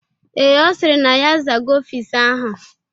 Ee, Ọ sịrị na ya azago ọfịs ahụ.